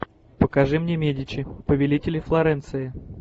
покажи мне медичи повелители флоренции